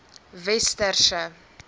westerse